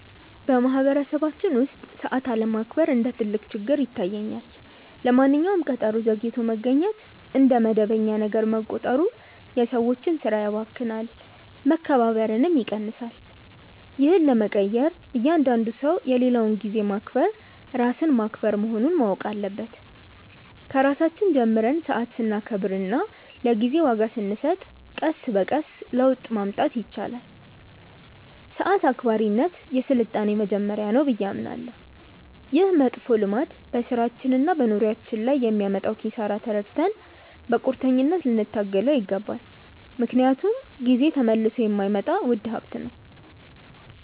በማኅበረሰባችን ውስጥ ሰዓት አለማክበር እንደ ትልቅ ችግር ይታየኛል። ለማንኛውም ቀጠሮ ዘግይቶ መገኘት እንደ መደበኛ ነገር መቆጠሩ የሰዎችን ሥራ ያባክናል፣ መከባበርንም ይቀንሳል። ይህን ለመቀየር እያንዳንዱ ሰው የሌላውን ጊዜ ማክበር ራስን ማክበር መሆኑን ማወቅ አለበት። ከራሳችን ጀምረን ሰዓት ስናከብርና ለጊዜ ዋጋ ስንሰጥ ቀስ በቀስ ለውጥ ማምጣት ይቻላል። ሰዓት አክባሪነት የሥልጣኔ መጀመሪያ ነው ብዬ አምናለሁ። ይህ መጥፎ ልማድ በሥራችንና በኑሯችን ላይ የሚያመጣውን ኪሳራ ተረድተን በቁርጠኝነት ልንታገለው ይገባል፤ ምክንያቱም ጊዜ ተመልሶ የማይመጣ ውድ ሀብት ነው።